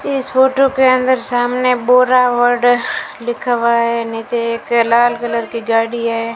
इस फोटो के अंदर सामने बोरावड़ लिखा हुआ है नीचे एक लाल कलर की गाड़ी है।